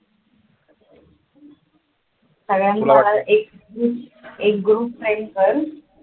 एक group send कर